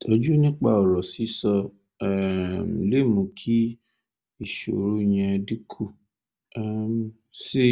ìtọ́jú nípa ọ̀rọ̀ sísọ tún um lè mú kí ìṣòro yẹn dínkù um sí